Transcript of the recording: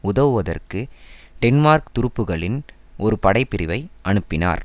உதவுவதற்கு டென்மார்க் துருப்புகளின் ஒரு படைப்பிரிவை அனுப்பினார்